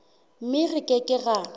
mme re ke ke ra